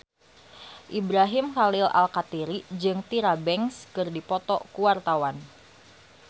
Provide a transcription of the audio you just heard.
Ibrahim Khalil Alkatiri jeung Tyra Banks keur dipoto ku wartawan